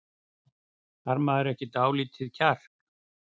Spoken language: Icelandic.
Þarf maður ekki dálítið kjark?